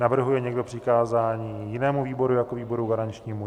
Navrhuje někdo přikázání jinému výboru jako výboru garančnímu?